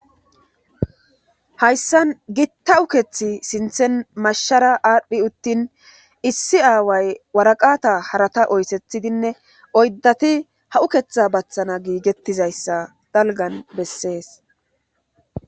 hayssan gitta ukethi sinthen mashshara adhdhidi uttin issi aaway waraqata harata oyssethidinne oyddati ha uketha bathana giigettizayssa dalgan bessees.